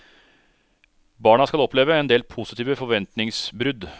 Barna skal oppleve en del positive forventningsbrudd.